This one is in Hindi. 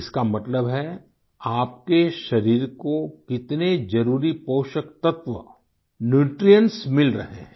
इसका मतलब है आपके शरीर को कितने जरुरी पोषक तत्व न्यूट्रिएंट्स मिल रहे हैं